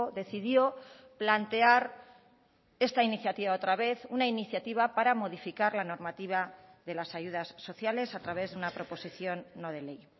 decidió plantear esta iniciativa otra vez una iniciativa para modificar la normativa de las ayudas sociales a través de una proposición no de ley